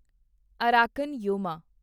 Arakan Yoma